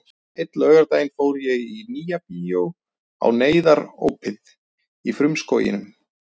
Einn laugardaginn fór ég í Nýja bíó á Neyðarópið í frumskóginum.